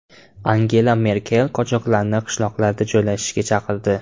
Angela Merkel qochoqlarni qishloqlarda joylashishga chaqirdi.